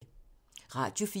Radio 4